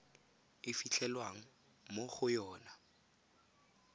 e fitlhelwang mo go yona